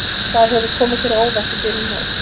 Hvað hefur komið þér á óvart í byrjun móts?